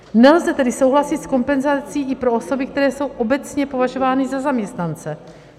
Nelze tedy souhlasit s kompenzací i pro osoby, které jsou obecně považovány za zaměstnance.